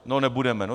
No nebudeme.